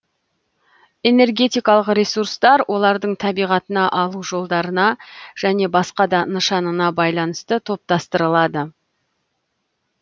энергетикалық ресурстар олардың табиғатына алу жолдарына және басқа да нышанына байланысты топтастырылады